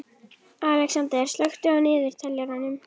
Alexander, slökktu á niðurteljaranum.